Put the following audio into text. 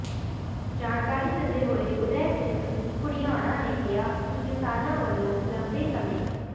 ਜਾਣਕਾਰੀ ਦਿੰਦੇ ਹੋਏ ਉਦੈ ਸਿੰਘ ਘੁੜਿਆਣਾ ਨੇ ਕਿਹਾ ਕਿ ਕਿਸਾਨਾਂ ਵੱਲੋਂ ਲੰਬੇ ਸਮੇ